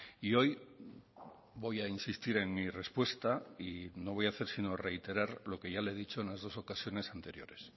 y hoy voy a insistir en mi respuesta y no voy a hacer sino reiterar lo que ya le he dicho en las dos ocasiones anteriores